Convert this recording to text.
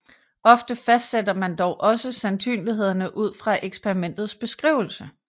Ofte fastsætter man dog også sandsynlighederne ud fra eksperimentets beskrivelse